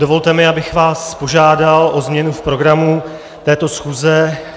Dovolte mi, abych vás požádal o změnu v programu této schůze.